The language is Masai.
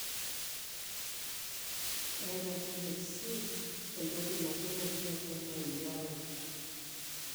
keeta THC, entoki napii naati atua marijuana.